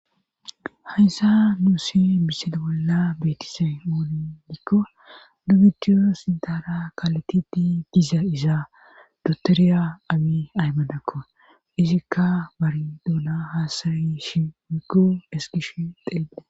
Hayssa nuuse misen bolla beetise mooni dikko dubidiyo sintara kaletiti giza izaa dotoriya amii aymadakko izikka bari duuna haasayishi mikko eskish xeele.